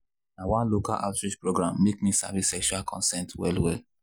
na one local outreach program make me sabi sexual consent well well